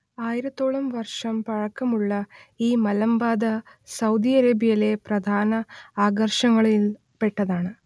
ആയിരത്തോളം വർഷം പഴക്കമുള്ള ഈ മലമ്പാത സൗദി അറേബ്യയിലെ പ്രധാന ആകർഷണങ്ങളിൽ പെട്ടതാണ്